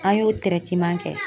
An y'o kɛ